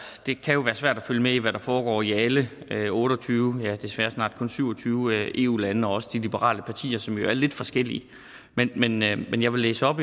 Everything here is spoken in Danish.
det kan være svært at følge med i hvad der foregår i alle otte og tyve desværre snart kun syv og tyve eu lande og også i de liberale partier som jo er lidt forskellige men men jeg vil læse op